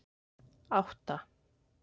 átta